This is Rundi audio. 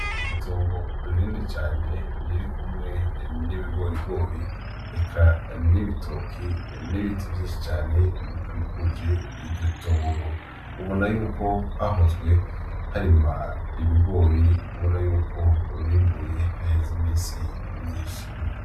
Itongo ririndi cane ririri kumwe n'ibigorigori eka n'ibitoki n'ibiti vyinshi cane bikikuje iryo tongo ubona yuko hahozwe harima ibigori ubona yuko bimbuye haheza imisi imyinshi.